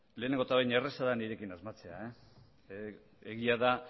lehenengo eta behin erraza da nirekin asmatzea egia da